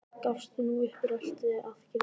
Gafst nú upp og rölti að girðingunni.